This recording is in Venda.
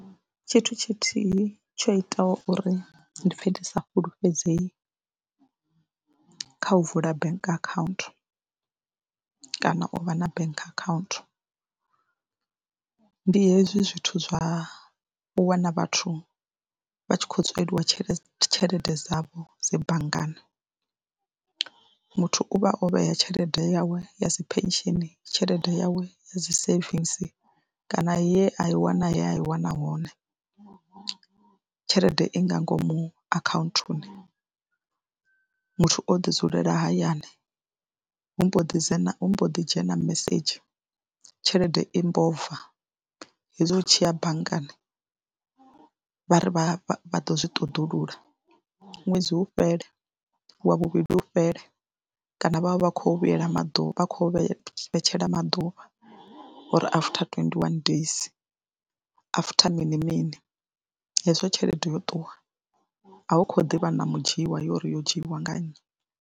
Tshithu tshithihi tsho itaho uri ndi pfhe ndi sa fhulufhedzei kha u vula bank akhaunthu kana u vha na bank akhaunthu ndi hezwi zwithu zwa u wana vhathu vha tshi khou tsweliwa tshelede tshelede dzavho dzi banngani. Muthu u vha o vhea tshelede yawe ya dzi pension, tshelede yawe ya dzi savings kana ye a i wana ye a i wana hone. Tshelede i nga ngomu akhaunthuni, muthu o ḓi dzulela hayani hu mbo ḓi dzhena hu mbo ḓi dzhena mesedzhi tshelede i mbo bva hezwi hu tshi ya banngani vha ri vha ḓo zwi ṱoḓulula ṅwedzi u fhele, wa vhuvhili hu fhele kana vha vha vha khou vhuyela maḓuvha, vha kho vhe vhetshela maḓuvha uri after twenty one days, after mini mini hezwo tshelede yo ṱuwa a u khou ḓivha na mudzhiiwa uri yo dzhiwa nga nnyi.